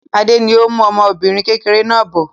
Adé ni ó ń mú ọmọbìnrin kékeré náà bọ̀.